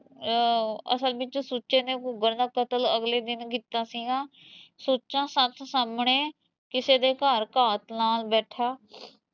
ਅਸਲ ਵਿਚ ਸੁੱਚੇ ਨੇ ਘੂਗਰ ਦਾ ਕਤਲ ਅਗਲੇ ਦਿਨ ਕੀਤਾ ਸੀਗਾ ਸੁੱਚਾ ਸੱਥ ਸਾਹਮਣੇ ਕਿਸੇ ਦੇ ਘਰ ਘਾਤ ਨਾਲ਼ ਬੈਠਾ